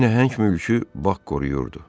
Bu nəhəng mülkü bax qoruyurdu.